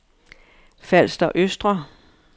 Falster Østre